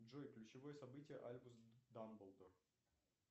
джой ключевое событие альбус дамблдор